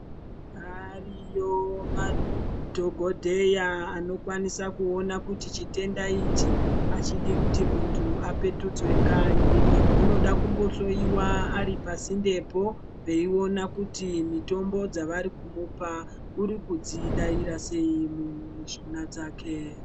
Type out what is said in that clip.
Ariyo madhokodheya anokwanisa kuoona kuti chitenda ichi achidi kuti munhu apetudzwe kanyi unoda kumbohloyiwa aripasindepo veiona kuti mitombo dzavarikumupa urikudzidaira sei mumishuna dzake.